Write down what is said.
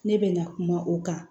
Ne bɛ na kuma o kan